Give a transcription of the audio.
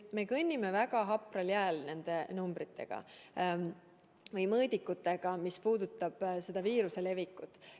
Me kõnnime nende numbrite ja mõõdikutega väga hapral jääl, mis puudutab viiruse levikut.